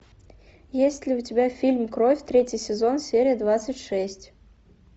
есть ли у тебя фильм кровь третий сезон серия двадцать шесть